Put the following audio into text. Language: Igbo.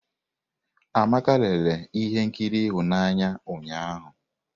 Amaka lere ihe nkiri ịhụnanya ụnyahụ.